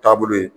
Taabolo ye